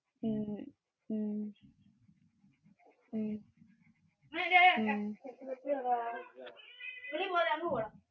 ഹാ നീ അങ്ങ് പോകുവോ?